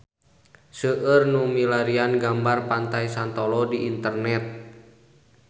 Seueur nu milarian gambar Pantai Santolo di internet